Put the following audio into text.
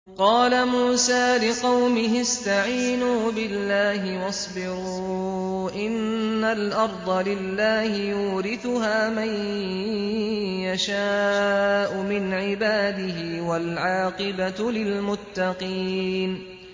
قَالَ مُوسَىٰ لِقَوْمِهِ اسْتَعِينُوا بِاللَّهِ وَاصْبِرُوا ۖ إِنَّ الْأَرْضَ لِلَّهِ يُورِثُهَا مَن يَشَاءُ مِنْ عِبَادِهِ ۖ وَالْعَاقِبَةُ لِلْمُتَّقِينَ